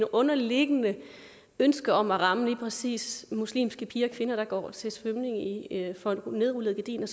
underliggende ønske om at ramme lige præcis muslimske piger og kvinder der går til svømning for nedrullede gardiner